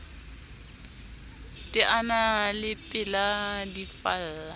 teana le pela di falla